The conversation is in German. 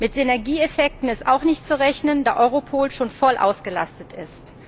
Mit Synergieeffekten ist auch nicht zu rechnen, da Europol schon voll ausgelastet ist.